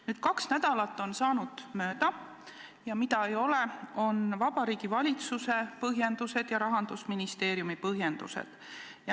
Nüüd on kaks nädalat mööda saanud, aga mida ei ole, on Vabariigi Valitsuse põhjendused ja Rahandusministeeriumi põhjendused.